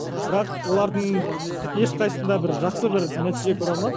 бірақ олардың ешқайсысында бір жақсы бір нәтиже көре алмадым